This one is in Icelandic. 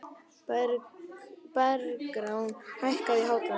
Bergrán, hækkaðu í hátalaranum.